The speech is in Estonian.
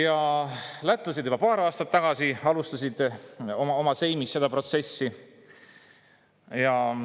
Lätlased alustasid juba paar aastat tagasi oma seimis seda protsessi.